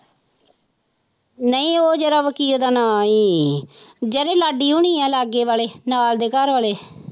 ਨਹੀਂ ਉਹ ਜਿਹੜਾ ਵਕੀਲ ਦਾ ਨਾਂ ਸੀ ਜਿਹੜੇ ਲਾਡੀ ਹੋਣੀ ਆਂ ਲਾਗੇ ਵਾਲੇ ਨਾਲ ਦੇ ਘਰ ਵਾਲੇ।